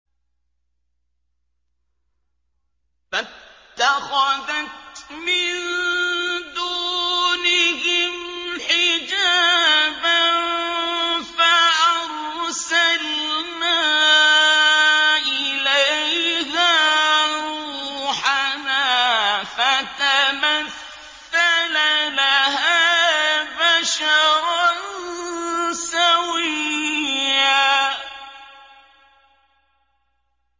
فَاتَّخَذَتْ مِن دُونِهِمْ حِجَابًا فَأَرْسَلْنَا إِلَيْهَا رُوحَنَا فَتَمَثَّلَ لَهَا بَشَرًا سَوِيًّا